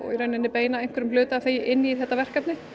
beina einhverjum hluta af þeim inn í þetta verkefni